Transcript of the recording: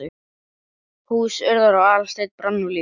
Hús Urðar og Aðalsteins brann nú líka.